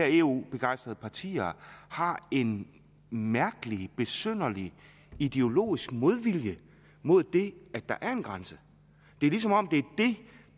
eu begejstrede partier har en mærkelig besynderlig ideologisk modvilje mod det at der er en grænse det er som om det